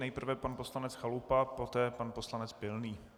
Nejprve pan poslanec Chalupa, poté pan poslanec Pilný.